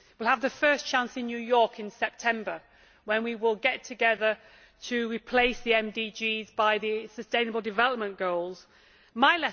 We will have the first chance in New York in September, when we will get together to replace the MDGs by the sustainable development goals My